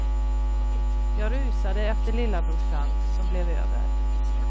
Jag rusade efter lillabrorsan, som blev över.